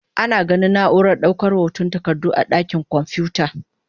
Ana ganin na'urar daukar hotan takardu a dakin kwamfuta.